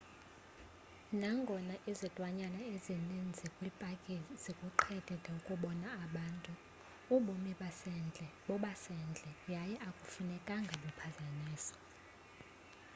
nangona izilwanyana ezininzi kwipaki zikuqhelile ukubona abantu ubomi basendle bobasendle yaye akufunekanga buphazanyiswe